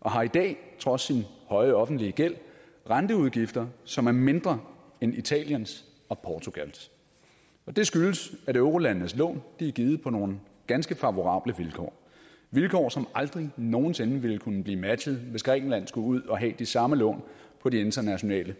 og har i dag trods sin høje offentlige gæld renteudgifter som er mindre end italiens og portugals og det skyldes at eurolandenes lån er givet på nogle ganske favorable vilkår vilkår som aldrig nogen sinde ville kunne blive matchet hvis grækenland skulle ud at have de samme lån på de internationale